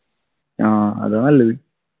ആഹ് അതാ നല്ലത്